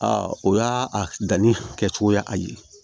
A o y'a a danni kɛcogoya a ye